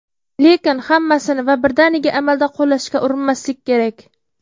Lekin, hammasini va birdaniga amalda qo‘llashga urinmaslik kerak.